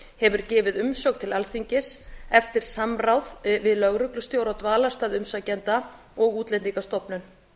hefur gefið umsögn til alþingis eftir samráð við lögreglustjóra á dvalarstað umsækjanda og útlendingastofnun